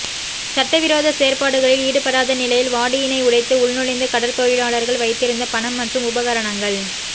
சட்டவிரோத செயற்பாடுகளில் ஈடுபடாத நிலையில் வாடியினை உடைத்து உள்நுழைந்து கடற்தொழிலாளர்கள் வைத்திருந்த பணம் மற்றும் உபகரணங்கள்